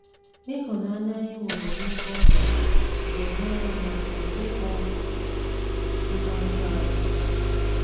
Ịhụnanya anyị nwere n’ebe ọ nọ ga - enyere anyị aka ịkpọ ihe ọjọọ asị.